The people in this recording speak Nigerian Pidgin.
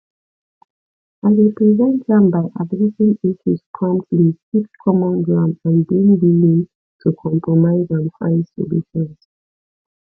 i dey prevent am by addressing issues promptly seek common ground and being willing to compromise and find solutions